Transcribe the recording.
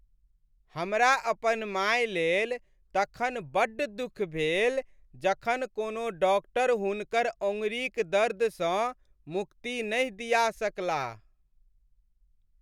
हमरा अपन माय लेल तखन बड्ड दुख भेल जखन कोनो डाक्टर हुनकर अँगुरीक दर्दसँ मुक्ति नहि दिया सकलाह।